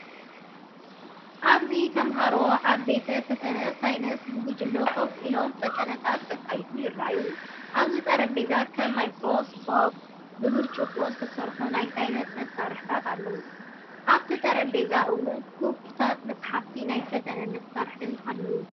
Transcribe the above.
ኣብዚ ተማሃሮ ኣብ ቤተ-ፈተነ ሳይንስ ብጉጅለ ኮፍ ኢሎም ፈተነታት ከካይዱ ይረኣዩ። ኣብቲ ጠረጴዛ ከም ማይክሮስኮፕ፡ ብብርጭቆ ዝተሰርሑ ናይ ሳይንስ መሳርሒታት ኣለዉ። ኣብቲ ጠረጴዛ እውን ክፉታት መጻሕፍትን ናይ ፈተነ መሳርሒታትን ኣለዉ።